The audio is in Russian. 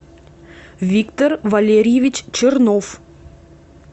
виктор валерьевич чернов